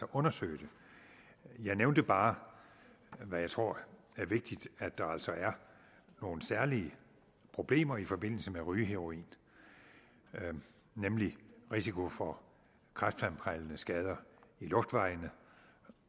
undersøge det jeg nævnte bare hvad jeg tror er vigtigt at der altså er nogle særlige problemer i forbindelse med rygeheroin nemlig risiko for kræftfremkaldende skader i luftvejene